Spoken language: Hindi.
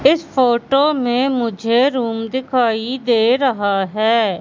इस फोटो में मुझे रूम दिखाई दे रहा है।